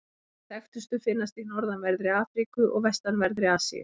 Þær þekktustu finnast í norðanverðri Afríku og vestanverðri Asíu.